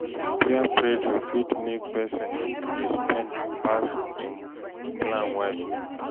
Peer pressure fit make pesin dey spend pass him plan well.